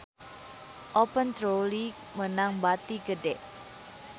Open Trolley meunang bati gede